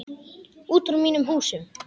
Út úr mínum húsum!